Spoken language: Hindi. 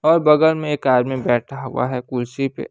और बगल में ये कार में बैठा हुआ है कुर्सी पे--